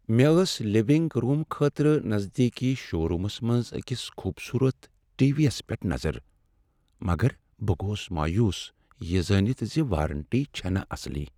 مےٚ ٲس living room خٲطرٕ نزدیکی شو رومس منٛز أکس خوبصورت ٹی۔ وی یس پیٹھ نظر مگر بہٕ گوس مایوس یہ زٲنِتھ ز وارنٹی چھنہٕ اصل ۔